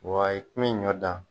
Wayi n mi ɲɔ dan